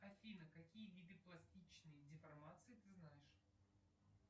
афина какие виды пластичной деформации ты знаешь